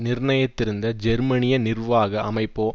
நிர்ணயித்திருந்த ஜெர்மனிய நிர்வாக அமைப்போ